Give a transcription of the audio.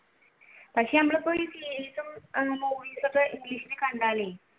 പക്ഷെ നമ്മൾ ഇപ്പയൊരു series ഉം movies ഉം english ഇൽ കണ്ടാൽ